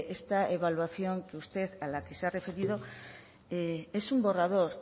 esta evaluación a la que usted se ha referido es un borrador